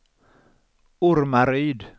Ormaryd